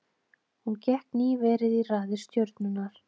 Hún gekk nýverið í raðir Stjörnunnar.